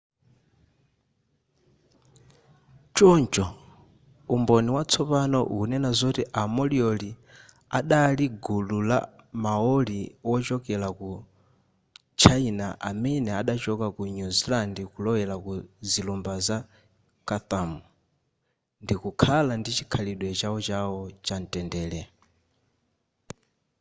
choncho umboni watsopano ukunena zoti a moriori adali gulu la maori wochokera ku china amene adachoka ku new zealand kulowera ku zilumba za chatham ndikukhala ndi chikhalidwe chawochawo chamtendere